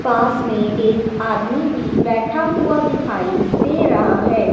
पास में एक आदमी भी बैठा हुआ दिखाई दे रहा है।